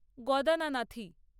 গদানানাথি